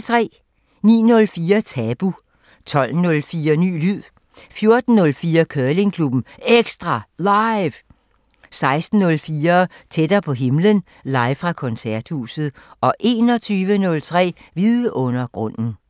09:04: Tabu 12:04: Ny lyd 14:04: Curlingklubben EKSTRA LIVE 16:04: Tættere på himlen – live fra Koncerthuset 21:03: Vidundergrunden